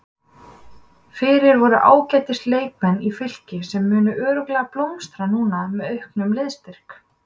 Fyrir voru ágætis leikmenn í Fylki sem munu örugglega blómstra núna með auknum liðsstyrk.